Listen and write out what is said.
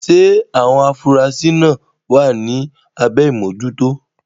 Ṣé àwọn afurasí máa wà ní abẹ́ ìmójútó?